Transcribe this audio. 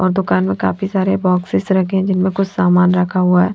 और दुकान में काफी सारे बॉक्सेस रखे हैं जिनमें कुछ सामान रखा हुआ है।